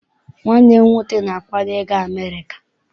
Nwanne m nwoke na-akwado I ga America.